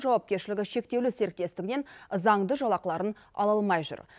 жауапкершілігі шектеулі серіктестігінен заңды жалақыларын ала алмай жүр